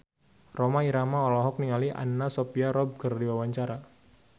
Rhoma Irama olohok ningali Anna Sophia Robb keur diwawancara